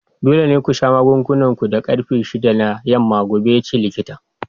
Dole ne ku sha magungunan ku da karfe shida na yamma gobe! yace likitan.